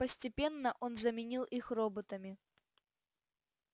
постепенно он заменил их роботами